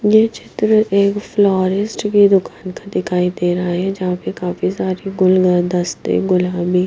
ये चित्र एक फ्लोरेस्ट की दुकान का दिखाई दे रहा है जहां पे काफी सारी गुल हद काफी गुल ह मि ---